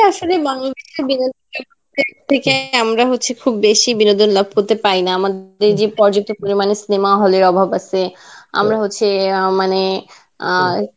আসলে থেকে আমরা হচ্ছে খুব বেশী বিনোদন লাভ করতে পারিনা. আমাদের যে প্রযাপ্ত পরিমানে cinema hall এর অভাব আছে, আমরা হচ্ছে মানে আ